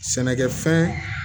Sɛnɛkɛfɛn